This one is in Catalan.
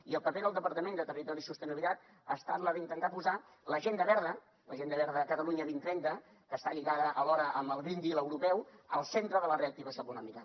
i el paper del departament de territori i sostenibilitat ha estat el d’intentar posar l’agenda verda l’agenda verda catalunya dos mil trenta que està lligada alhora amb el green deal europeu al centre de la reactivació econòmica